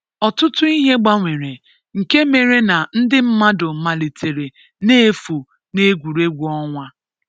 ọtụtụ ihe gbanwere nke mere na ndị mmadụ malitere na-efu n’Egwuregwu onwa.